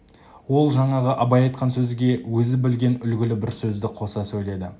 ол жаңағы абай айтқан сөзге өзі білген үлгілі бір сөзді қоса сөйледі